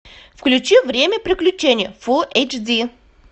включи время приключений фул эйч ди